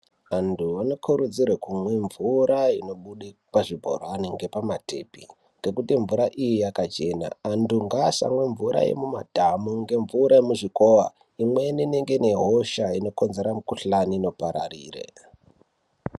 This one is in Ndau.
Antu anokurudzirwa kumwa mvura inobuda pazvibhorani nepamatepi ngekuti mvura iyi yakachena antu ngasamwe mvura yemumadhamu ngemvura yemuzvikora imweni ine hosha inokonzera mikuhlani inopararira.